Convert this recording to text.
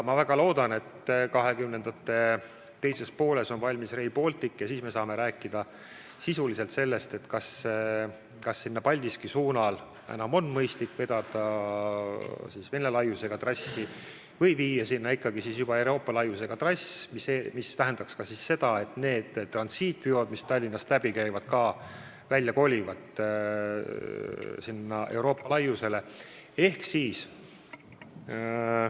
Ma väga loodan, et 2020. aastate teises pooles on Rail Baltic valmis ja siis me saame rääkida sisuliselt sellest, kas Paldiski suunal on enam mõistlik Vene laiusega trass või tuleks viia sinna ikkagi juba Euroopa laiusega trass, mis tähendaks ka seda, et need transiitveod, mis Tallinnast läbi käivad, kolivad sellele Euroopa laiusega trassile.